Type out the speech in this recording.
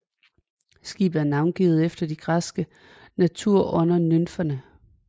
Skibet er navngivet efter de græske naturånder nymferne